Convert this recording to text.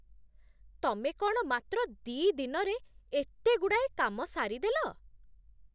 ତମେ କ'ଣ ମାତ୍ର ଦି' ଦିନରେ ଏତେଗୁଡ଼ାଏ କାମ ସାରିଦେଲ?